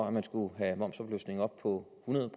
at man skulle have momsafløftningen op på hundrede